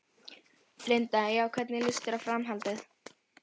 Linda: Já, hvernig lýst þér á framhaldið?